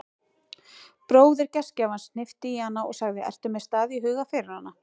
Bróðir gestgjafans hnippti í hana og sagði: ertu með stað í huga fyrir hana?